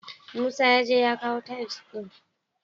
Musa yaje ya kawu tiles ɗin.